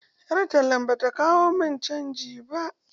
Ƴar tallan bata kawo mun canji ba.